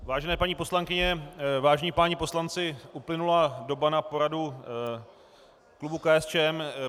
Vážené paní poslankyně, vážení páni poslanci, uplynula doba na poradu klubu KSČM.